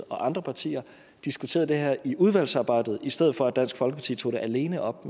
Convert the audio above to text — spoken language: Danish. og andre partier diskuterede det her i udvalgsarbejdet i stedet for at dansk folkeparti tog det alene op